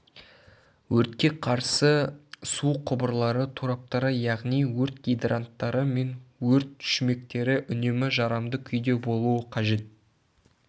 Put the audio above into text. өртке қарсы су құбырлары тораптары яғни өрт гидранттары мен өрт шүмектері үнемі жарамды күйде болуы қажет